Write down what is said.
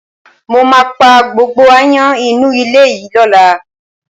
Mo máa pá gbogbo aáyán inú ilé yìí lọ́la